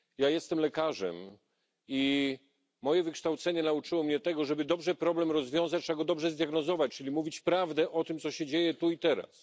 Jestem lekarzem i moje wykształcenie nauczyło mnie tego, że aby dobrze problem rozwiązać, trzeba go dobrze zdiagnozować, czyli mówić prawdę o tym, co się dzieje tu i teraz.